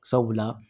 Sabula